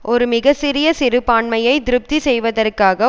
ஒரு மிக சிறிய சிறுபான்மையை திருப்தி செய்வதற்காக